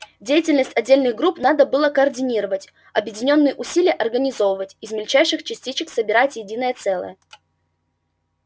деятельность отдельных групп надо было координировать объединённые усилия организовывать из мельчайших частичек собирать единое целое